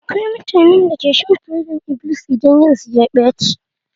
Akwai mutanen da ke shan fodar-iblis idan ran su ya ɓace.